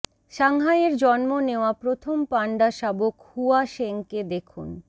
সাংহাইয়ের জন্ম নেওয়া প্রথম পান্ডা শাবক হুয়া শেংকে দেখুন